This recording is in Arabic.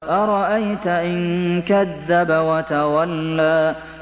أَرَأَيْتَ إِن كَذَّبَ وَتَوَلَّىٰ